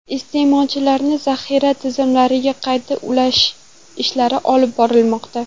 Iste’molchilarni zaxira tizimlariga qayta ulash ishlari olib borilmoqda.